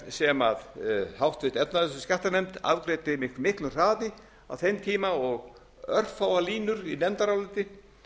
sem háttvirt efnahags og skattanefnd afgreiddi með miklum hraði á þeim tíma og örfáar línur í nefndaráliti